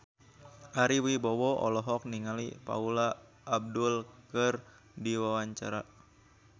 Ari Wibowo olohok ningali Paula Abdul keur diwawancara